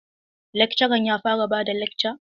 Lakcaran ya fara bada lakca?